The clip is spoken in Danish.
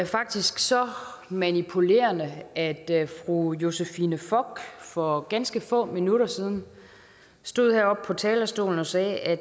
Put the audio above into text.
faktisk så manipulerende at da fru josephine fock for ganske få minutter siden stod heroppe på talerstolen og sagde at